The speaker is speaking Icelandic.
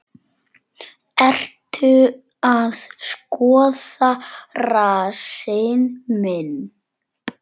Ertu að skoða rassinn minn?